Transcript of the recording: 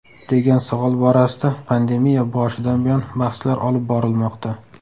degan savol borasida pandemiya boshidan buyon bahslar olib borilmoqda.